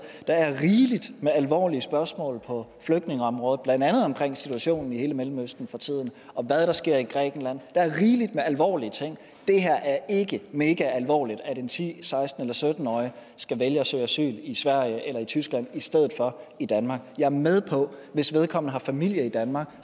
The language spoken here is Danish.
der er rigeligt med alvorlige spørgsmål på flygtningeområdet blandt andet omkring situationen i hele mellemøsten for tiden og hvad der sker i grækenland der er rigeligt med alvorlige ting det er ikke megaalvorligt at en ti seksten eller sytten årig skal vælge at søge asyl i sverige eller i tyskland i stedet for i danmark jeg er med på at hvis vedkommende har familie i danmark